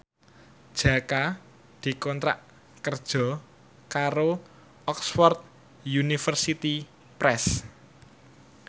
Jaka dikontrak kerja karo Oxford University Press